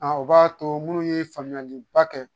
o b'a to minnu ye faamuyaliba kɛ